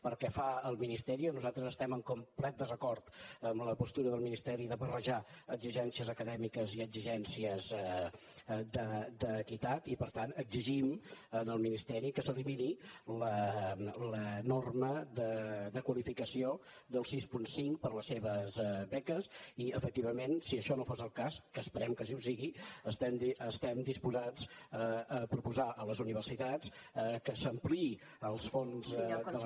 pel que fa al ministeri nosaltres estem en complet desacord amb la postura del ministeri de barrejar exigències acadèmiques i exigències d’equitat i per tant exigim al ministeri que s’elimini la norma de qualificació del sis coma cinc per a les seves beques i efectivament si això no fos el cas que esperem que sí que ho sigui estem disposats a proposar a les universitats que s’ampliïn els fons de les